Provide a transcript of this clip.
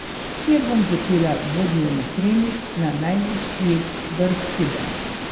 Kjer bom začela dvodnevni treking na najvišji vrh Kube.